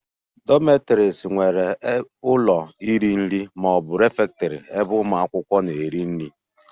Dormitories nwere ụlọ iri nri ma ọ bụ refectory ebe ụmụ akwụkwọ na-eri nri